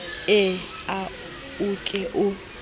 ee a o ke o